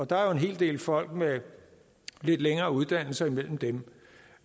der er jo en hel del folk med lidt længere uddannelse imellem dem